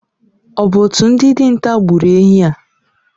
Ọ bụ otu ndị dinta gburu enyí a?